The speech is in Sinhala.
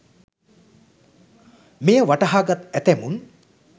මෙය වටහා ගත් ඇතැමුන්